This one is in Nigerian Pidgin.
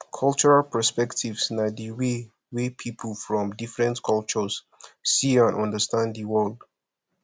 cultural perspectives na di way wey people from different cultures see and understand di world